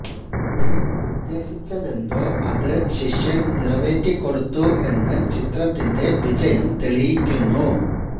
Kim ഉദ്ദേശിച്ചതെന്തോ അത് ശിഷ്യന് നിറവേറ്റിക്കൊടുത്തു എന്ന് ചിത്രത്തിന്റെ വിജയം തെളിയിക്കുന്നു